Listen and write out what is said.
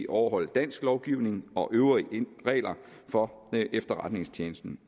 overholde dansk lovgivning og øvrige regler for efterretningstjenesten